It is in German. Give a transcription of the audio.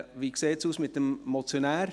– Wie sieht es mit dem Motionär aus?